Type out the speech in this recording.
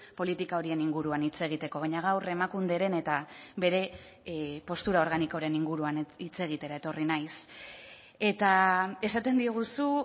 politika horien inguruan hitz egiteko baina gaur emakunderen eta bere postura organikoren inguruan hitz egitera etorri naiz eta esaten diguzu